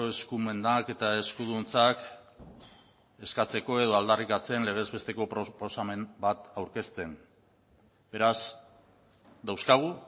eskumenak eta eskuduntzak eskatzeko edo aldarrikatzen legez besteko proposamen bat aurkezten beraz dauzkagu